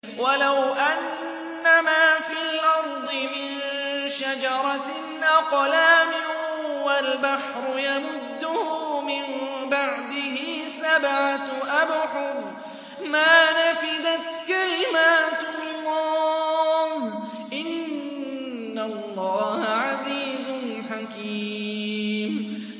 وَلَوْ أَنَّمَا فِي الْأَرْضِ مِن شَجَرَةٍ أَقْلَامٌ وَالْبَحْرُ يَمُدُّهُ مِن بَعْدِهِ سَبْعَةُ أَبْحُرٍ مَّا نَفِدَتْ كَلِمَاتُ اللَّهِ ۗ إِنَّ اللَّهَ عَزِيزٌ حَكِيمٌ